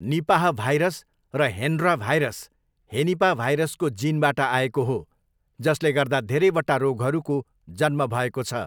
Nipah virus र Hendra virus हेनिपा भाइरसको जिनबाट आएको हो, जसले गर्दा धेरैवटा रोगहरूको जन्म भएको छ।